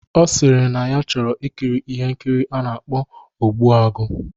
Ọ sịrị na ya chọrọ ikiri ihe nkiri a na-akpọ "Ogbuagu"